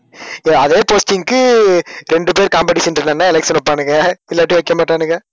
இல்ல அதே posting க்கு ரெண்டு பேர் competition இருந்தா election வைப்பானுங்க. இல்லாட்டி வைக்கமாட்டானுங்க